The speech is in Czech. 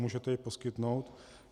Můžete ji poskytnout?